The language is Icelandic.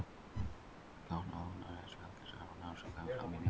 Frjókornaofnæmi er eitt algengasta ofnæmið sem kemur fram í nefi og augum.